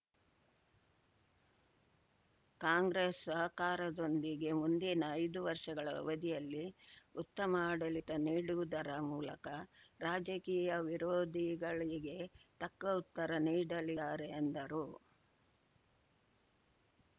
ಕಾಂಗ್ರೆಸ್‌ ಸಹಕಾರದೊಂದಿಗೆ ಮುಂದಿನ ಐದು ವರ್ಷಗಳ ಅವಧಿಯಲ್ಲಿ ಉತ್ತಮ ಆಡಳಿತ ನೀಡುವುದರ ಮೂಲಕ ರಾಜಕೀಯ ವಿರೋಧಿಗಳಿಗೆ ತಕ್ಕ ಉತ್ತರ ನೀಡಲಿರೆ ಎಂದರು